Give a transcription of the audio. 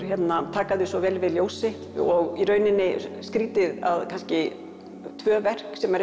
taka þau svo vel við ljósi og í rauninni skrítið að kannski tvö verk sem eru